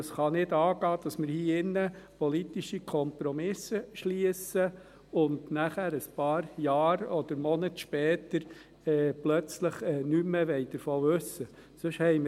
Es kann nicht angehen, dass wir hier im Rat politische Kompromisse schliessen, und nachher, ein paar Jahre oder Monate später, plötzlich nichts mehr davon wissen wollen.